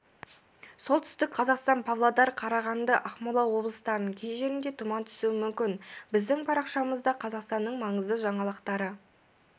солтүстік қазақстан павлодар қарағанды ақмола облыстарының кей жерінде тұман түсуі мүмкін біздің парақшамызда қазақстанның маңызды жаңалықтары